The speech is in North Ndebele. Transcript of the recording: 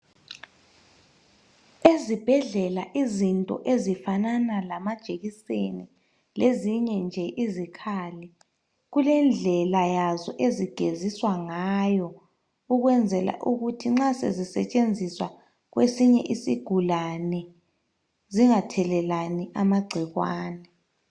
Ezibhedlela izinto ezifanana lamajekiseni lezinye nje izikhali kulendlela yazo ezigeziswa ngayo ukwenzela ukuthi nxa sezisetshenziswa kwesinye isigulane zingathelelani amagcikwane.